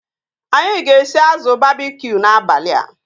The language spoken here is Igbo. Anyị ga-esi azụ babkiu n'abalịa